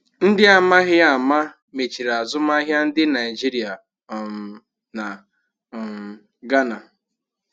Ndị amaghi ama mechiri azụmahịa ndị Naijiria um na um Ghana